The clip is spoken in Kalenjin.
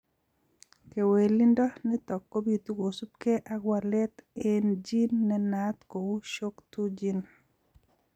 Kewelindo nitok kobitu kosubkei ak walet eng' gene nenaat kou shoc2 gene